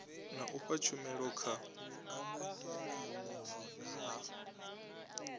na u fha tshumelo kha